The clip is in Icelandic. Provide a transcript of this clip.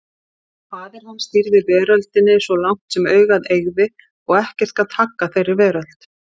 Faðir hans stýrði veröldinni svo langt sem augað eygði og ekkert gat haggað þeirri veröld.